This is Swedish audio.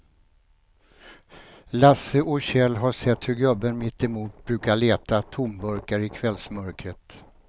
Lasse och Kjell har sett hur gubben mittemot brukar leta tomburkar i kvällsmörkret.